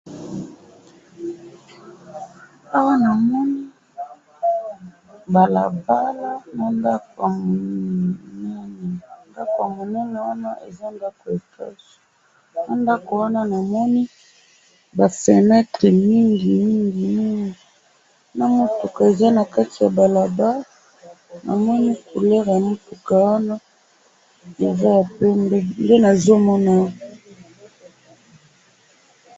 Na moni ndako pembeni ya balabala na ba fenetre mingi na mutuka ya pembe na kati ya balabala.